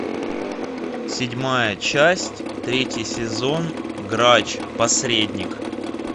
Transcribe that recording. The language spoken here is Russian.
седьмая часть третий сезон грач посредник